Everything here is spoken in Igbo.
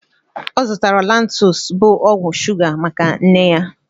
Ọ zụtara Lantus, bu ọgwụ shuga maka nne ya